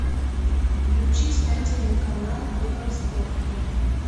включи спортивный канал евроспорт